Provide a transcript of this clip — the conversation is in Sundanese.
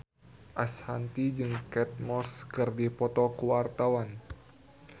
Ashanti jeung Kate Moss keur dipoto ku wartawan